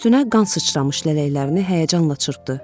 Üstünə qan sıçramış lələklərini həyəcanla çırpdı.